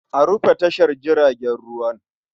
A rufe tashar jiragen ruwan.